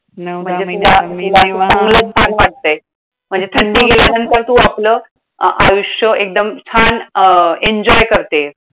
हो मी निवांत चांगलंच छान वाटतंय. म्हणजे थंडी गेल्यानंतर तू आपलं आयुष्य एकदम छान अं enjoy करतेय.